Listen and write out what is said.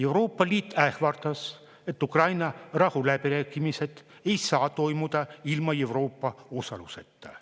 Euroopa Liit ähvardas, et Ukraina rahuläbirääkimised ei saa toimuda ilma Euroopa osaluseta.